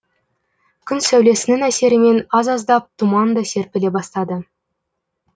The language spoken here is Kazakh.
күн сәулесінің әсерімен аз аздап тұман да серпіле бастады